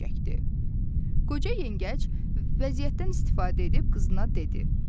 Qoca yengəc vəziyyətdən istifadə edib, qızına dedi.